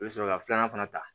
I bɛ sɔrɔ ka filanan fana ta